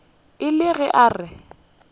e le ge a re